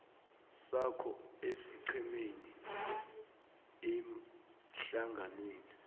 sakho esiqhemeni ehlanganweni